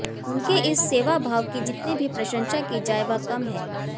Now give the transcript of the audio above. उनके इस सेवाभाव की जितनी भी प्रशंसा की जाए वह कम है